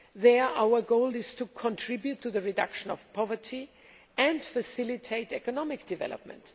There, our goal is to contribute to the reduction of poverty and facilitate economic development.